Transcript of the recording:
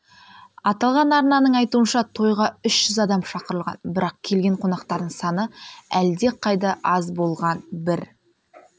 аталған арнаның айтуынша тойға үш жүз адам шақырылған бірақ келген қонақтардың саны әлдеқайда аз болған бір